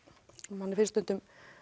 manni finnst